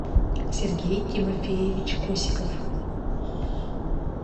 сергей тимофеевич косиков